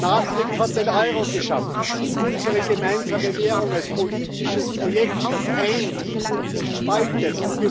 Maastricht hat den Euro geschaffen, unsere gemeinsame Währung als politisches Projekt, das eint und nicht spaltet.